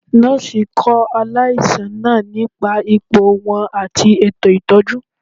Nọọsi kọ alaisan naa nipa ipo wọn ati eto itọju.